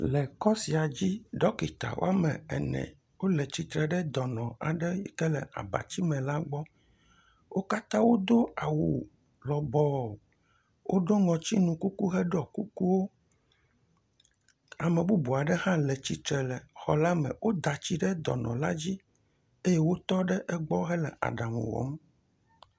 Le kɔ sia dzi, ɖɔkita woame ene wole tsitre ɖe dɔnɔ aɖe yike le abati me la gbɔ. Wo katã wodo awu lɔbɔ, woɖɔ ŋɔtinu kuku, heɖɔ kukuwo, Ame bubu aɖe hã le tsitre le xɔ la me. Woda tsi ɖe dɔnɔ la dzi eye wotɔ ɖe egbɔ hele aɖaŋu wɔm.